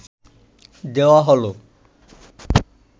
দেওয়া হল